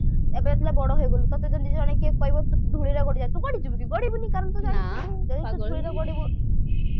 ଏବେ ଯେତେବେଳେ ବଡ ହେଇଗଲୁ ତତେ ଯଦି ଜଣେ କିଏ କହିବ ଧୂଳିରେ ଗଡିଯା ତୁ ଗଡିଯିବୁ କି ଗଡିବୁନି କାରଣ ନା କାରଣ ତୁ ଜାଣିଛୁ ଯଦି ଧୂଳିରେ ଗଡିବୁ